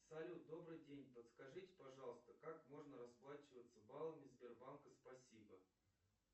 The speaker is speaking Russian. салют добрый день подскажите пожалуйста как можно расплачиваться баллами сбербанка спасибо